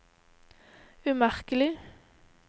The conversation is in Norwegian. umerkelig